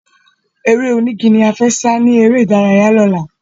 Eré onígi la fẹ́ sá ni eré ìdárayá lọ́la